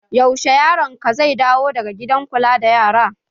Yaushe yaron ka zai dawo daga gidan kula da yara?